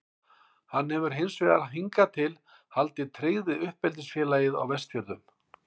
Hann hefur hins vegar hingað til haldið tryggð við uppeldisfélagið á Vestfjörðum.